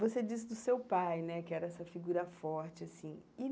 Você disse do seu pai, né, que era essa figura forte, assim e.